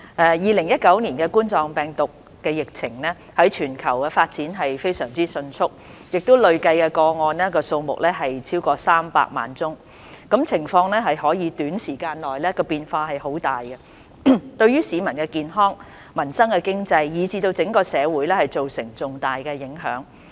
2019冠狀病毒病的疫情在全球傳播非常迅速，累計個案數目超過300萬宗，情況更可在短時間內出現很大變化，對市民健康、民生經濟，以至整個社會造成重大影響。